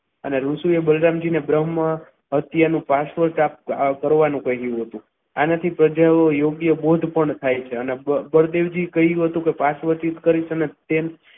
અને ઋષિએ બદનામ જી ને બ્રહ્મ હત્યાનું શાશ્વત કરવાનું કહ્યું હતું આનાથી યોગ્ય બોધ પણ થાય છે અને બોધ બળદેવજીએ કહ્યું હતું કે શાશ્વતજીને તેમ